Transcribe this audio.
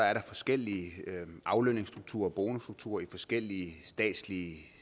er der forskellige aflønningsstrukturer og bonusstrukturer i forskellige statslige